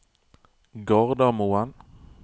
Gardermoen